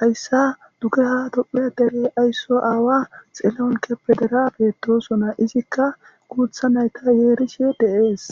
hayssa dugeha dophiya dere aysso aawa xeloonke pe dera beettosona izikka guutha nayta yeerishe de7ees